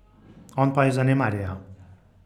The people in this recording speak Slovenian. On pa jo zanemarja.